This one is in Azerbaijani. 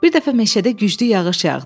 Bir dəfə meşədə güclü yağış yağdı.